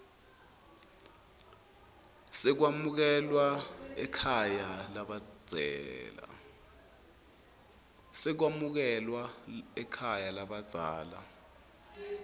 sekwamukelwa ekhaya lalabadzela